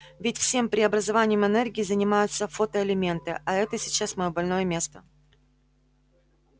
ведь всем преобразованием энергии занимаются фотоэлементы а это сейчас моё больное место